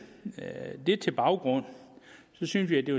baggrund synes vi at det